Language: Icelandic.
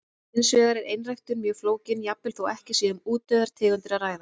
Hins vegar er einræktun mjög flókin, jafnvel þó ekki sé um útdauðar tegundir að ræða.